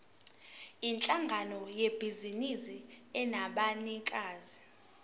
yinhlangano yebhizinisi enabanikazi